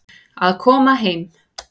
Að koma heim